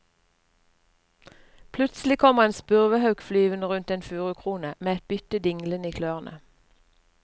Plutselig kommer en spurvehauk flyvende rundt en furukrone med et bytte dinglende i klørne.